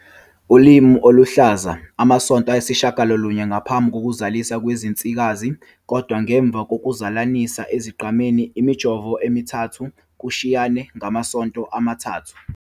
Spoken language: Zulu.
Ulimi oluluhlaza, amasonto ayisishiyagalolunye ngaphambi kokuzala kwezinsikazi kodwa ngemva kokuzalanisa ezingqameni, imijovo emithathu, kushiyane ngamasonto amathathu.